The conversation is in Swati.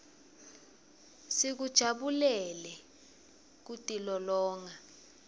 sikujabulele kutilolonga